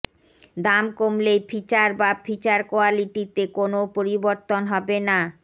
দাম কমলেও ফিচার বা ফিচার কোয়ালিটিতে কোনও পরিবর্তন হবে না